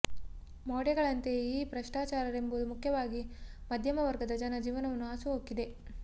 ಮೌಢ್ಯಗಳಂತೆಯೇ ಈ ಭ್ರಷ್ಟಾಚಾರವೆಂಬುದು ಮುಖ್ಯವಾಗಿ ಮಧ್ಯಮ ವರ್ಗದ ಜನ ಜೀವನವನ್ನು ಹಾಸು ಹೊಕ್ಕಿದೆ